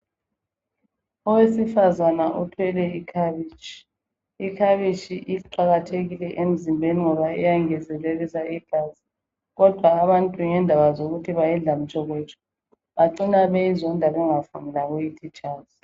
Owesifazana uthwele ikhabishi. Ikhabishi iqakathekile emzimbeni ngoba iyangezelelisa igazi kodwa ngendaba yokuthi abantu bayidla mtshokotsho bacina beyizonda bengafuthi lokuyithi tshazi.